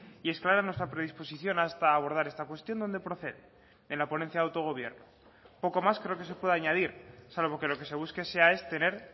y es clara nuestra predisposición hasta abordar esta cuestión donde procede en la ponencia de autogobierno poco más creo que se puede añadir salvo que lo que se busque sea es tener